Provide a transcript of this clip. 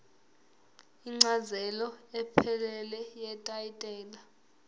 incazelo ephelele yetayitela